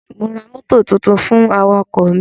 Mo ra mọ́tò tuntun fún awakọ̀ mi.